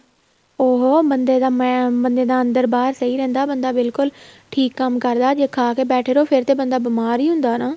ਉਹ ਬੰਦੇ ਦਾ ਮੈਂ ਬੰਦੇ ਅੰਦਰ ਬਾਹਰ ਸਹੀਂ ਰਹਿੰਦਾ ਬੰਦਾ ਬਿਲਕੁਲ ਠੀਕ ਕੰਮ ਕਰਦਾ ਜ਼ੇ ਖਾਕੇ ਬੈਠੇ ਰਹੋ ਫ਼ਿਰ ਤੇ ਬੰਦਾ ਬੀਮਾਰ ਹੀ ਹੁੰਦਾ ਹਨਾ